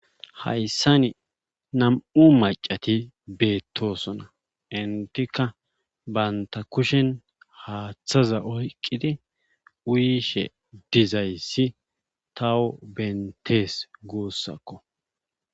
Hayssani nam7u maccati beetttoosona enttika bantta kushen haathaza oyqqidi uyishe dizayssi taw benttees guussako.